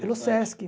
Pelo Sesc.